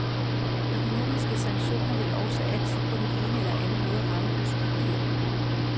Økonomiske sanktioner vil også altid på den ene eller anden måde ramme uskyldige.